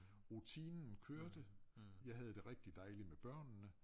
Rutinen kørte jeg havde det rigtig dejligt med børnene